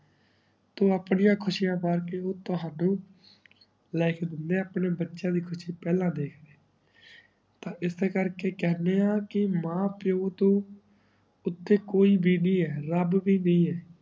ਤੂ ਅਪ੍ਨਿਯਾ ਖ਼ੁਸ਼ਿਯਾ ਬਾਰ ਕ੍ਯੂਂ ਤਹਾਨੂ ਲੇ ਕੇ ਦਿਨੀ ਆ ਅਪਨੇ ਬਚਯਾ ਦੀ ਖੁਸ਼ੀ ਪਹਲਾ ਦਾਖ੍ਡੇ ਤਾਂ ਇਸੇ ਕਰ ਕੇ ਕਹ੍ਨ੍ਡੇ ਆਂ ਕੇ ਮਾਂ ਪੀਏ ਟੋਹ ਉਤੇ ਕੋਈ ਬੀਬੀ ਹੈ ਰਾਬ ਵੀ ਹੈ